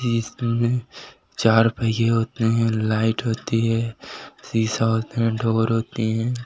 इसमें चार पहिये होते हैं लाइट होती है शीशा होते हैं डोर होती हैं।